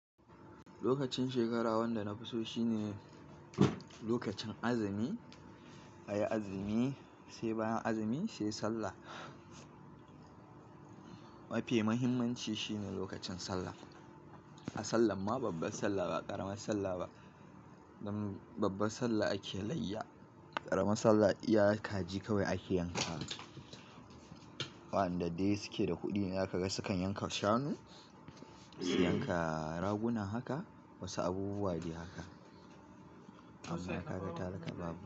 Lokacin shekara wanda na fi so shine lokacin azumi, ayi azumi sai bayan azumi sai sallah. Mafi muhimmanci shine lokacin sallah. A sallan ma babbar sallah ba ƙaramar sallah ba. Dan babbar sallah ake layya, ƙaramar sallah iya kaji kawai ake yanka. Waɗanda dai suke da kuɗi zakaga sukan yanka shanu, su yanka raguna haka, wasu abubuwa dai haka. Amma ina ga talaka babu.